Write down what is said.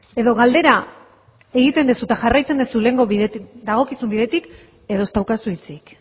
edo galdera egiten duzu edo jarraitzen duzu dagokizun bidetik edo ez daukazu hitzik